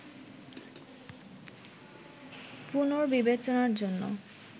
পুনর্বিবেচনার জন্য